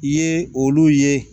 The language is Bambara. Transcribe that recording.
I ye olu ye